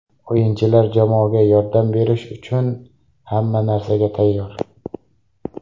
O‘yinchilar jamoaga yordam berish uchun hamma narsaga tayyor.